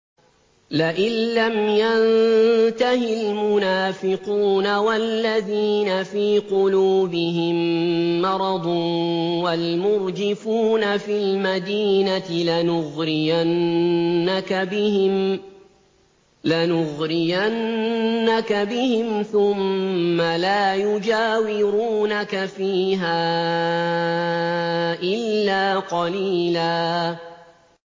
۞ لَّئِن لَّمْ يَنتَهِ الْمُنَافِقُونَ وَالَّذِينَ فِي قُلُوبِهِم مَّرَضٌ وَالْمُرْجِفُونَ فِي الْمَدِينَةِ لَنُغْرِيَنَّكَ بِهِمْ ثُمَّ لَا يُجَاوِرُونَكَ فِيهَا إِلَّا قَلِيلًا